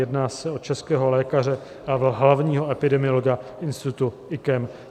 Jedná se o českého lékaře a hlavního epidemiologa institutu IKEM.